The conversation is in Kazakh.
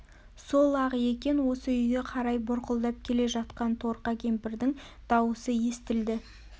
сол-ақ екен осы үйге қарай бұрқылдап келе жатқан торка кемпірдің дауысы естілді